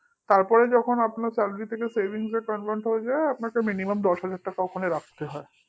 তারপরে যখন আপনার salary থেকে savings এ convert হয়ে যায় তখন minimum দশ হাজার টাকা ওখানে রাখতে হয়